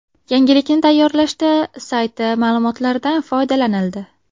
Yangilikni tayyorlashda sayti ma’lumotlaridan foydalanildi.